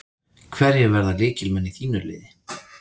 Hverjir verða lykilmenn í þínu liði?